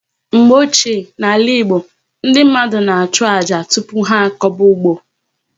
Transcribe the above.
Mgbe ochie n'ala Igbo, ndị mmadụ na achụ àjà tupu ha akoba ụgbọ